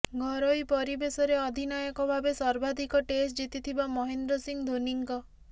ଘରୋଇ ପରିବେଶରେ ଅଧିନାୟକ ଭାବେ ସର୍ବାଧିକ ଟେଷ୍ଟ ଜିତିଥିବା ମହେନ୍ଦ୍ର ସିଂ ଧୋନୀଙ୍କ